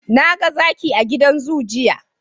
Naga Zaki a gidan zoo, jiya